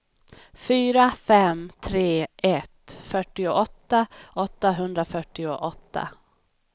fyra fem tre ett fyrtioåtta åttahundrafyrtioåtta